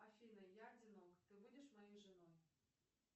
афина я одинок ты будешь моей женой